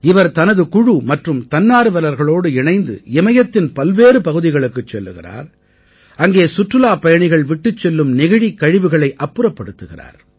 இவர் தனது குழு மற்றும் தன்னார்வலர்களோடு இணைந்து இமயத்தின் பல்வேறு பகுதிகளுக்குச் செல்கிறார் அங்கே சுற்றுலாப் பயணிகள் விட்டுச் செல்லும் நெகிழிக் கழிவுகளை அப்புறப்படுத்துகிறார்